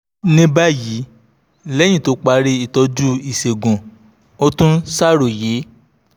ní báyìí lẹ́yìn tó parí ìtọ́jú ìṣègùn ó tún ń ṣàròyé